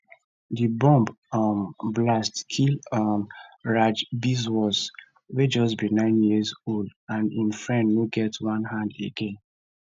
di bomb um blast kill um raj biswas wey just be nine years old and im friend no get one hand again